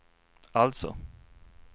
alltså